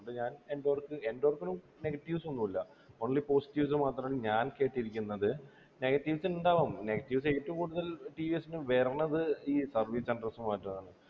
അപ്പൊ ഞാൻ endork endork നും negetives ഒന്നും ഇല്ല only positives മാത്രാണ് ഞാൻ കേട്ടിരിക്കുന്നത് negetives ഉണ്ടാവും negetives ഏറ്റവും കൂടുതൽ TVS നു വരണത് ഈ service center മാറ്റാണ്